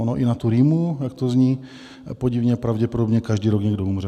Ono i na tu rýmu, jak to zní podivně, pravděpodobně každý rok někdo umře.